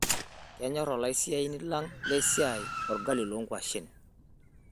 Kenyorr olaasani lang' lesiai olgali loonkuashen.